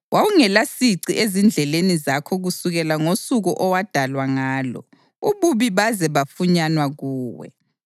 Wawungelasici ezindleleni zakho kusukela ngosuku owadalwa ngalo ububi baze bafunyanwa kuwe.